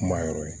Kuma yɔrɔ ye